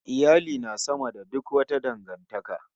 Iyali na sama da suk wata dangantaka